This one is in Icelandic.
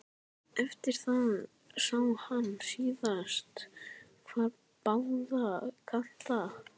Eftir það sá hann víðast hvar báða kanta.